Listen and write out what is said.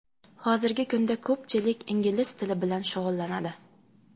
Hozirgi kunda ko‘pchilik ingliz tili bilan shug‘ullanadi.